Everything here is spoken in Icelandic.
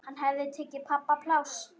Hann hafði tekið pabba pláss.